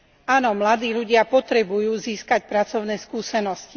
Áno, mladí ľudia potrebujú získať pracovné skúsenosti.